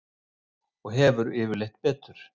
Og hefur yfirleitt betur.